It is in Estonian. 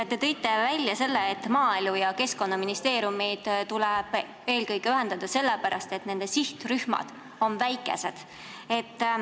Te tõite välja, et maaelu- ja keskkonnaministeerium tuleb eelkõige ühendada sellepärast, et nende sihtrühmad on väikesed.